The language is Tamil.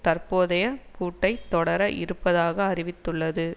தற்போதைய கூட்டைத் தொடர இருப்பதாக அறிவித்துள்ளது